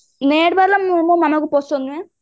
net ବାଲା ମୁଁ ମୋ ମମାଙ୍କୁ ପସନ୍ଦ ନୁହେ